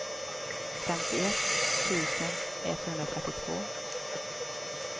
femtioett tusen etthundratrettiotvå